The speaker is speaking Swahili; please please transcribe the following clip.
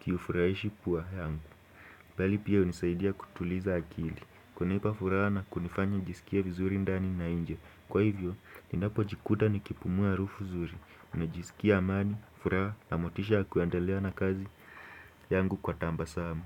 kiufurahishi pua yangu Bali pia unisaidia kutuliza akili kunipa furaha na kunifanya nijisikie vizuri ndani na nje Kwa hivyo, ninapojikuta nikipumua arufu zuri najisikia amani, furaha, na motisha ya kuendelea na kazi yangu kwa tambasamu.